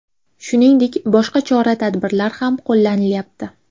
Shuningdek, boshqa chora-tadbirlar ham qo‘llanilyapti.